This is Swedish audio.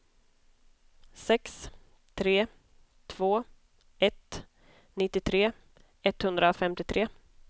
sex tre två ett nittiotre etthundrafemtiotre